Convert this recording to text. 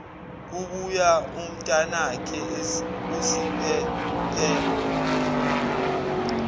kubuya umntanakhe usiphephelo